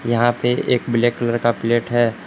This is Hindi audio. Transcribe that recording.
यहां पे एक ब्लैक कलर का प्लेट है।